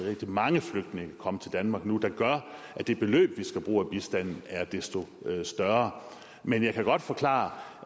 mange flygtninge komme til danmark nu der gør at det beløb vi skal bruge af bistanden er desto større men jeg kan godt forklare